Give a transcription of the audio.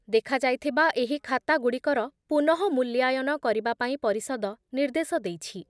ଦେଖାଯାଇଥିବା ଏହି ଖାତାଗୁଡ଼ିକର ପୁନଃ ମୁଲ୍ୟାୟନ କରିବା ପାଇଁ ପରିଷଦ ନିର୍ଦ୍ଦେଶ ଦେଇଛି ।